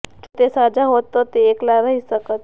જો તે સાજાં હોત તો તો એકલાં રહી શકત